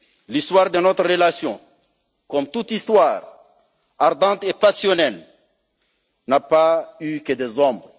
L'histoire de notre relation, comme toute histoire, ardente et passionnelle, n'a pas eu que des ombres.